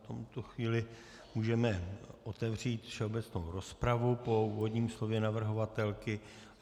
V tuto chvíli můžeme otevřít všeobecnou rozpravu po úvodním slově navrhovatelky.